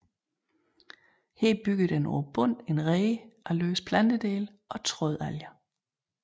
Her bygger den på bunden en rede af løse plantedele og trådalger